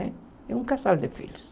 Né é um casal de filhos.